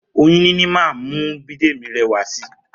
Oyún níní máa ń mú Bídèmí rẹwà si